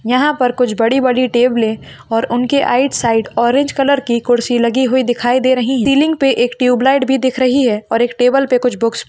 पर कुछ बड़ी बड़ी टेबले और उनके आइड साइड ऑरेंज की कुड़सी लगी हुई दिखाई दे रही है टिलिंग पे एक टुब लाइट भी दिख रही है और इक टेबल पे कुछ बुक्स --